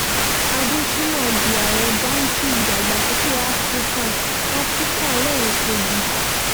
adeshina di ààrẹ báǹkì ìdàgbàsókè afrika afrika lẹ́ẹ̀kejì